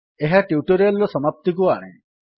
ଏହା ଟ୍ୟୁଟୋରିଆଲ୍ ର ସମାପ୍ତିକୁ ଆଣେ